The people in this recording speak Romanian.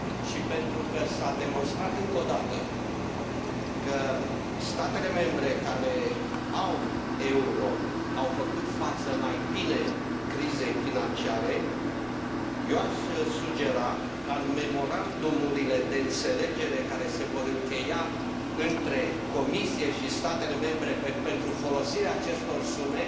Și pentru că s a demonstrat încă o dată că statele membre care au euro au făcut față mai bine crizei financiare, eu aș sugera ca în memorandumurile de înțelegere care se vor încheia între Comisie și statele membre pentru folosirea acestor sume